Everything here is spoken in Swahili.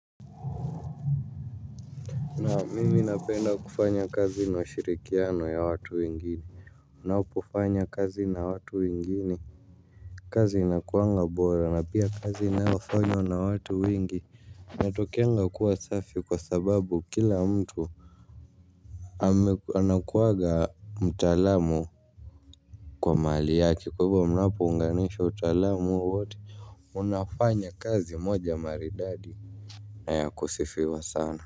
Na mimi napenda kufanya kazi inashirikiano ya watu wengini. Unapofanya kazi na watu wengine kazi inakuanga bora na pia kazi inayofanywa na watu wingi. Natokeanga kuwa safi kwa sababu kila mtu anakuwaga mtaalam kwa mahali yake, kwahivo mnapounganishwa utaalamu huo mnafanya kazi moja maridadi.